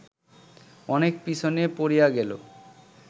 অনেক পিছনে পড়িয়া গেল